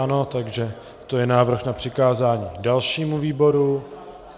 Ano, takže to je návrh na přikázání dalšímu výboru.